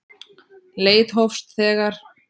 Leit hófst þegar